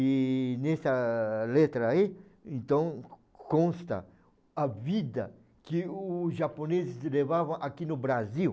E nessa letra aí, então, consta a vida que os japoneses levava aqui no Brasil.